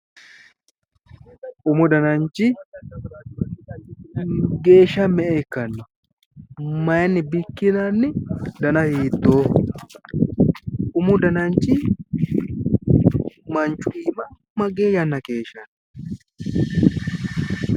Umu dananchi geeshsha me'e ikkanno? maayiinni bikkinanni dansino hiittooho? umu dananchi manchu iima magee yanna keeshshanno ?